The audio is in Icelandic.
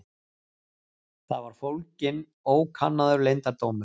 Þar var fólginn ókannaður leyndardómur.